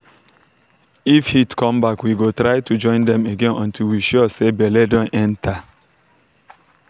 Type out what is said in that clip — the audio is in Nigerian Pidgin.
if heat come back we go try to join dem again until we sure say belle don enter.